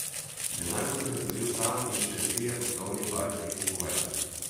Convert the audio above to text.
Denar bo zagotovil sam in še trije poslovni partnerji iz Kuvajta.